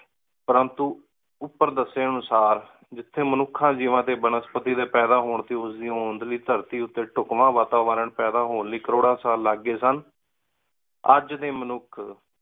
ਪਰੰਤੂ ਓਪੇਰ ਦੱਸੇ ਅਨੁਸਾਰ ਜਿਥੇ ਮਨੁਖਾ ਜੀਵਾਂ ਬਨਸਪਤੀ ਡੀ ਪੈਦਾ ਹੋਣ ਧਰਤੀ ਊਤੇ ਵਾਤਾਵਰਨ ਪੈਦਾ ਹੋਣ ਲਈ ਕਰੋੜਾ ਸਾਲ ਲਗ ਗਏ ਸਨ ਅਜੇ ਡੀ ਮਨੁਖ